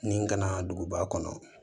Nin kana duguba kɔnɔ